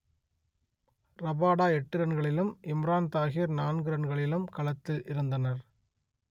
Rabada எட்டு ரன்களிலும் இம்ரான் தாஹிர் நான்கு ரன்களிலும் களத்தில் இருந்தனர்